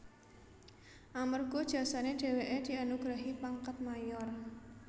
Amerga jasane dheweke dianugrahi pangkat Mayor